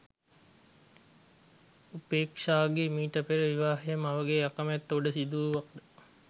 උපේක්ෂාගේ මීට පෙර විවාහය මවගේ අකමැත්ත උඩ සිදුවුවද